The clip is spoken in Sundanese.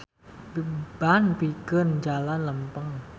Ban pikeun jalan lempeng.